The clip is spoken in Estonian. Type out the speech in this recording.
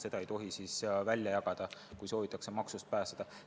Seda ei tohi siis välja jagada, kui soovitakse maksust pääseda.